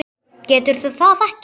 Getur það ekki.